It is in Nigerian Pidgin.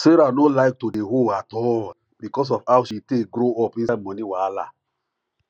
sarah no like to de owe at all because of how she take grow up inside money wahala